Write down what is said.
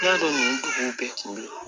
I y'a dɔn nin dugu bɛɛ kun bɛ ye